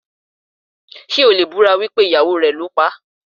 Ṣé o lè búra wípé ìyàwó rẹ̀ ló paá?